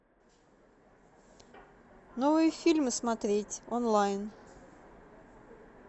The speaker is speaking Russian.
новые фильмы смотреть онлайн